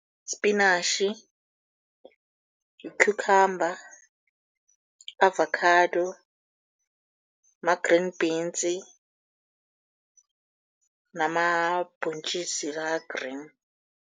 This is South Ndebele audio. Spinatjhi, yi-cucumber, avacado, ma-grean beans namabhontjisi la a-green.